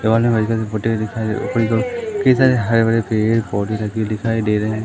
इन्होंने white colour की कई सारे हरे भरे पेड़ पौधे लगे हुए दिखाई दे रहे हैं।